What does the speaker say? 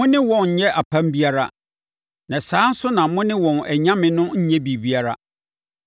Mo ne wɔn nnyɛ apam biara, na saa ara nso na mo ne wɔn anyame no nnyɛ biribiara.